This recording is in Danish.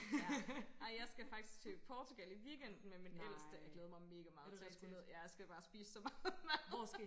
Ja ej jeg skal faktisk til Portugal i weekenden med min ældste og jeg glæder mig mega meget til at skulle ned ja jeg skal bare spise så meget mad